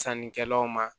Sannikɛlaw ma